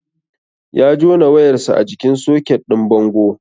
Ya jona wayar sa a jikin soket din bango